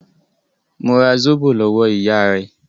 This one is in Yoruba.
Mo ra Zóbò lọ́wọ́ ìyá rẹ̀.